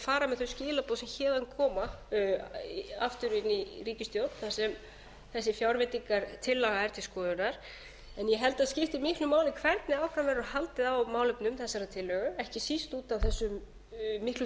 fara með þau skilaboð sem héðan koma aftur inn í ríkisstjórn þar sem þessi fjárveitingartillaga er til skoðunar en ég held að það skipti miklu máli hvernig áfram verður haldið á málefnum þessarar tillögu ekki síst út af þessum miklu